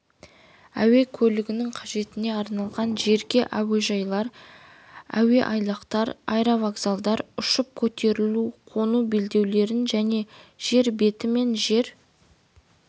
әуе көлігінің қажеттеріне арналған жерге әуежайлар әуеайлақтар аэровокзалдар ұшып көтерілу-қону белдеулерін және жер беті мен жер